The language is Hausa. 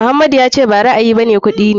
Muhammadu ya ce ba ra'ayi bane kuɗi ne.